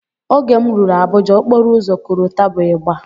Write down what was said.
Oge m rụrụ Abuja, okporoụzọ korota bụ ịgba